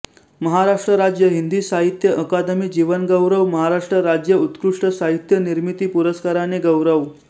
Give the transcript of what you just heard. महाराष्ट्र राज्य हिंदी साहित्य अकादमी जीवन गौरव महाराष्ट्र राज्य उत्कृष्ट साहित्य निर्मिती पुरस्काराने गौरव